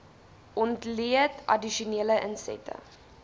ontleed addisionele insette